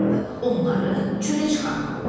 Onları çölə çıxarmalı oldu.